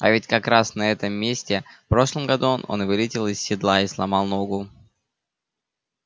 а ведь как раз на этом месте в прошлом году он вылетел из седла и сломал ногу